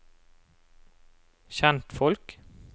kjentfolk